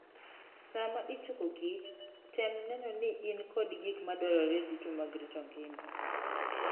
Sama ichokokich, tem neno ni in kod gik madwarore duto mag rito ngima.